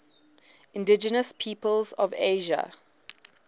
indigenous peoples of asia